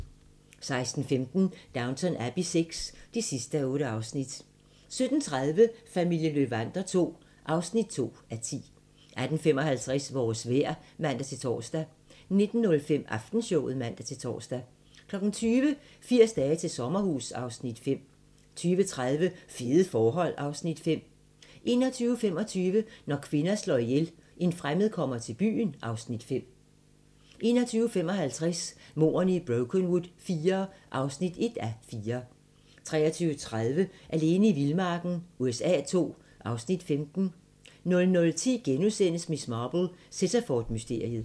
16:15: Downton Abbey VI (8:8) 17:30: Familien Löwander II (2:10) 18:55: Vores vejr (man-tor) 19:05: Aftenshowet (man-tor) 20:00: 80 dage til sommerhus (Afs. 5) 20:30: Fede forhold (Afs. 5) 21:25: Når kvinder slår ihjel - En fremmed kommer til byen (Afs. 5) 21:55: Mordene i Brokenwood IV (1:4) 23:30: Alene i vildmarken USA II (Afs. 15) 00:10: Miss Marple: Sittaford-mysteriet *